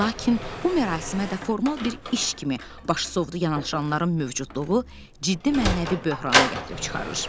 Lakin bu mərasimə də formal bir iş kimi baş sovdu yanaşanların mövcudluğu ciddi mənəvi böhrana gətirib çıxarır.